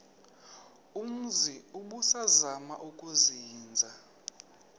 umzi ubusazema ukuzinza